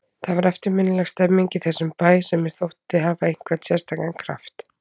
Það var eftirminnileg stemmning í þessum bæ sem mér þótti hafa einhvern sérstakan kraft.